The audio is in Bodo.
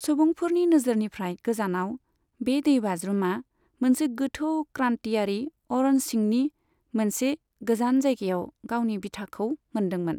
सुबुंफोरनि नोजोरनिफ्राय गोजानाव, बे दैबाज्रुमा मोनसे गोथौ क्रान्तियारि अरन सिंनि मोनसे गोजान जायगायाव गावनि बिथाखौ मोन्दोंमोन।